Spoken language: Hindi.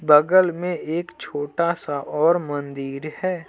बगल में एक छोटा- सा और मंदिर है।